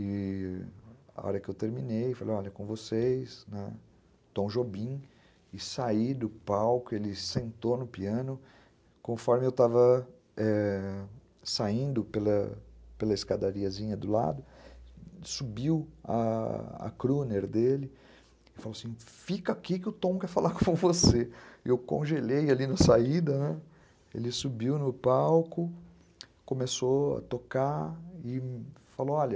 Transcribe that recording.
e... a hora que eu terminei, falei, olha, com vocês, né, Tom Jobim, e saí do palco, ele sentou no piano, conforme eu estava é... saindo pela escadariazinha do lado, subiu a a crooner dele, e falou assim, fica aqui que o Tom quer falar com você, e eu congelei ali na saída, ele subiu no palco, começou a tocar, e falou, olha,